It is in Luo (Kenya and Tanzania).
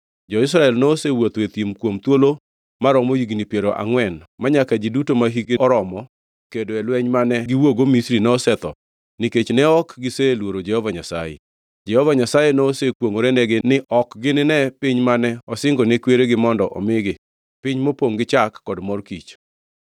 Jo-Israel nosewuotho e thim kuom thuolo maromo higni piero angʼwen manyaka ji duto mahikgi oromo kedo e lweny mane giwuokgo Misri nosetho nikech ne ok giseluoro Jehova Nyasaye. Jehova Nyasaye nosekwongʼorenegi ni ok gininee piny mane osingo ne kweregi mondo omigi, piny mopongʼ gi chak kod mor kich.